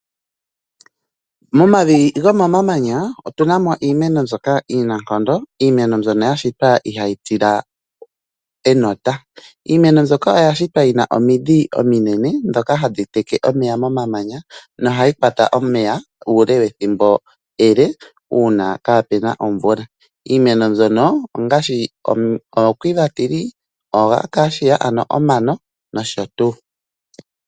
Momavi gomamanya otu na mo iimeno mbyoka iinankondo, iimeno mbyono ya shitwa ihayi tila enota. Iimeno mbyoka oya shitwa yi na omidhi ominene dhoka hadhi teke omeya momamanya, nohayi kwata omeya uule wethimbo ele, uuna kaa pena omvula. Iimeno mbyono ongaashi omuti go Quiver, oAcacia ano omano nosho tuu.